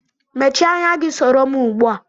Mèchié ányá gi soro m ugbua